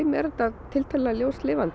er þetta tiltölulega ljóslifandi